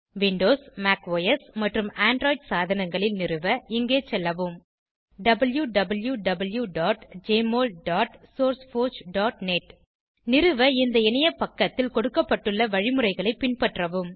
Windows Mac OS மற்றும் Android சாதனங்களில் நிறுவ இங்கே செல்லவும் wwwjmolsourceforgenet நிறுவ இந்த இணைய பக்கத்தில் கொடுக்கப்பட்டுள்ள வழிமுறைகளை பின்பற்றவும்